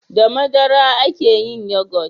da madara a ke yin yogot